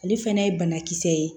Ale fana ye banakisɛ ye